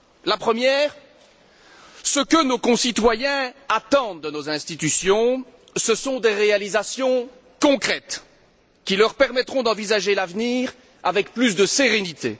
La première ce que nos concitoyens attendent de nos institutions ce sont des réalisations concrètes, qui leur permettront d'envisager l'avenir avec plus de sérénité.